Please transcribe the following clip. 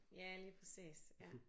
Ja lige præcis ja